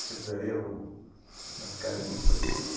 Aquele ali era uma cara de São Paulo.